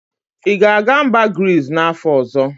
Ị ga-aga mba Grizz n'afọ ọzọ?